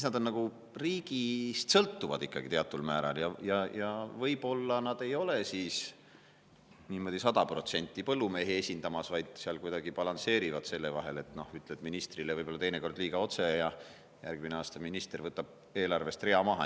Nad on nagu riigist sõltuvad ikkagi teataval määral ja võib-olla nad ei ole niimoodi sada protsenti põllumehi esindamas, vaid nad seal kuidagi balansseerivad: ütled ministrile võib-olla teinekord liiga otse ja järgmine aasta minister võtab eelarvest rea maha.